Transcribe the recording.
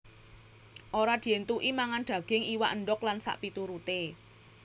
Ora dientuki mangan daging iwak endog lan sakpituruté